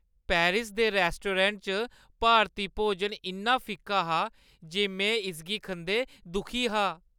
Paris दे restaurant च भारती भोजन इन्ना फिक्का हा जे में इसगी खंदे दुखी हा।